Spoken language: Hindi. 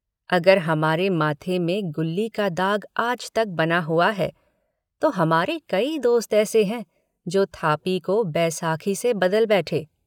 अगर हमारे माथे में गुल्ली का दाग आज तक बना हुआ है तो हमारे कई दोस्त ऐसे हैं जो थापी को बैसाखी से बदल बैठे।